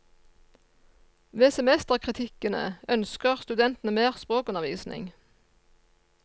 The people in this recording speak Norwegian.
Ved semesterkritikkene ønsker studentene mer språkundervisning.